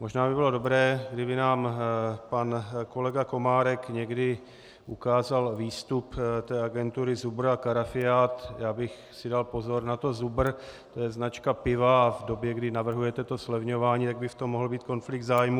Možná by bylo dobré, kdyby nám pan kolega Komárek někdy ukázal výstup té agentury Zubr a Karafiát - já bych si dal pozor na to Zubr, to je značka piva a v době, kdy navrhujete to zlevňování, tak by v tom mohl být konflikt zájmů.